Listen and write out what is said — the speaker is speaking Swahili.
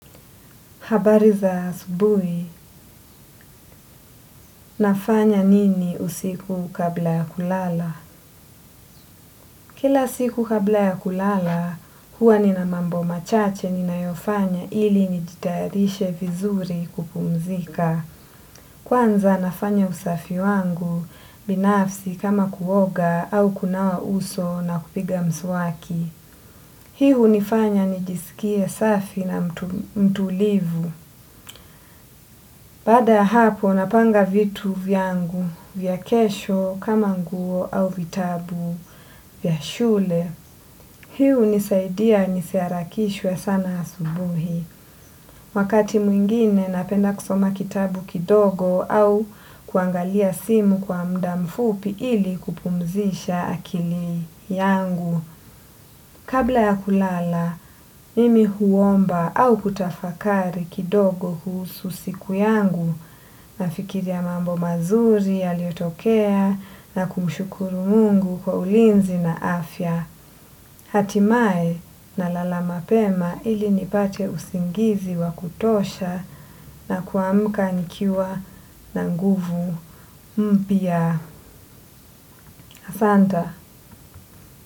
Habari za asubui, nafanya nini usiku kabla ya kulala? Kila siku kabla ya kulala, huwa nina mambo machache ninayofanya ili nijitayarishe vizuri kupumzika. Kwanza nafanya usafi wangu, binafsi kama kuoga au kunawa uso na kupiga mswaki. Hii hunifanya nijisikie msafi na mtulivu. Bada ya hapo napanga vitu vyangu vya kesho kama nguo au vitabu vyashule. Hii unisaidia nisiharakishwe sana asubuhi. Wakati mwingine napenda kusoma kitabu kidogo au kuangalia simu kwa muda mfupi ili kupumzisha akili yangu. Kabla ya kulala, mimi huomba au kutafakari kidogo kuhusu siku yangu nafikiria mambo mazuri yaliyotokea na kumshukuru mungu kwa ulinzi na afya. Hatimaye nalala mapema ili nipate usingizi wa kutosha na kuamuka nikiwa na nguvu mpya. Asanta.